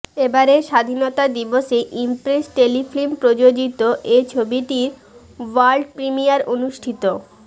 এবারের স্বাধীনতা দিবসে ইমপ্রেস টেলিফিল্ম প্রযোজিত এ ছবিটির ওয়ার্ল্ড প্রিমিয়ায় অনুষ্ঠিত